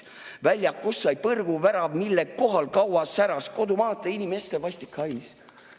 Väljakust sai põrguvärav, mille kohal kaua säras kodumaata inimeste vastik hais.